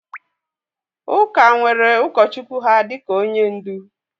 Ụka nwere ụkọchukwu ha dịka onye ndu